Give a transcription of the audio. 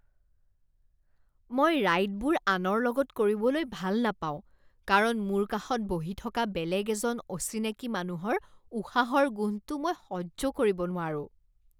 মই ৰাইডবোৰ আনৰ লগত কৰিবলৈ ভাল নাপাওঁ কাৰণ মোৰ কাষত বহি থকা বেলেগ এজন অচিনাকি মানুহৰ উশাহৰ গোন্ধটো মই সহ্য কৰিব নোৱাৰোঁ।